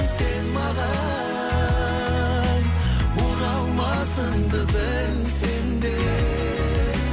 сен маған оралмасыңды білсем де